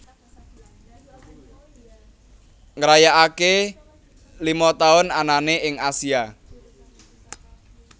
ngrayakake lima tahun anane ing Asia